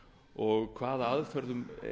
og hvaða aðferðum